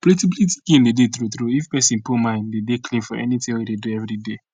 plenti plenti gain dey dey tru tru if pesin put mind dey dey clean for anything wey e dey do everyday